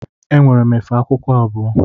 Enwere efe akwụkwọ abụọ.